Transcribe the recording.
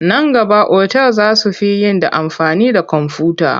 Nan gaba otal za su fi yin da amfani da komfuta..